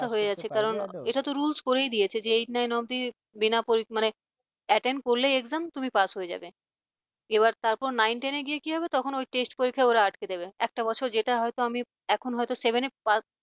pass হয়েই আছি কারন এটা তো rules করেই দিয়েছে যে eight nine অব্দি বিনা মানে attend করলেই exam তুমি pass হয়ে যাবে। এবার তারপর nine ten গিয়ে কি হবে তখন ওই test পরীক্ষায় ওরা আটকে দেবে একটা বছর যেটা হয়তো আমি এখন হয়ত seven pass